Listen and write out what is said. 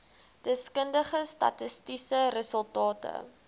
deskundige statistiese resultate